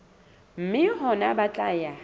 mme hona ho tla ya